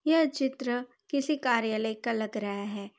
यह चित्र किसी कार्यालय का लग रहा है।